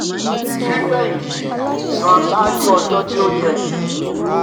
fífèhìntì: san ṣáájú ọjọ́ tí ó yẹ um